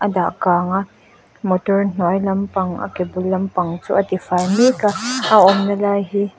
a dah kang a motor hnuai lampang a ke bul lampang chu a tifai mek a a awmna lai hi--